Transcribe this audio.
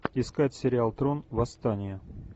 искать сериал трон восстание